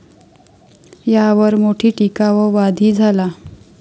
यावर मोठी टिका व वाद ही झाला.